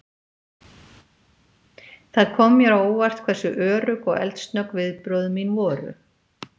Það kom mér á óvart hversu örugg og eldsnögg viðbrögð mín voru.